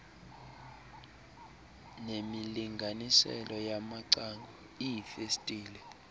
nemilinganiselo yamacango iifestile